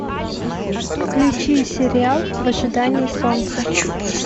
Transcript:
включи сериал в ожидании солнца